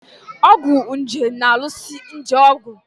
Ọgwụ nje na-alụso nje ọgụ.